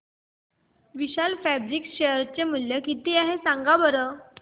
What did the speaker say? विशाल Fabrics share चे मूल्य किती आहे सांगा बरं